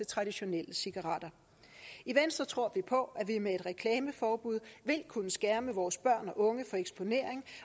traditionelle cigaretter i venstre tror vi på at vi med et reklameforbud vil kunne skærme vores børn og unge for eksponering